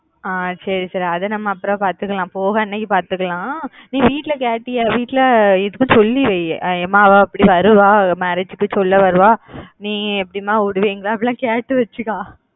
ஆஹ் சரி சரி அதா நம்ம அப்புறம் பாத்துக்கலாம் போற அன்னைக்கு பார்த்துக்கலாம் நீ வீட்டுல கேட்டியா வீட்டுல இப்போ சொல்லி வை அம்மா அவ இப்புடி வருவா marriage க்கு சொல்ல வருவா நீ எப்பிடி அம்மா விடுவீங்களா அப்பிடி எல்லாம் கேட்டு வெச்சுக்கோ